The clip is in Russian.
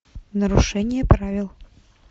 нарушение правил